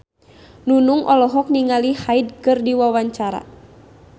Nunung olohok ningali Hyde keur diwawancara